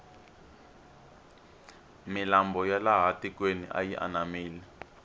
milambo ya laha tikweni yi anamile